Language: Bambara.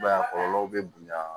I b'a ye kɔlɔlɔw bɛ bonya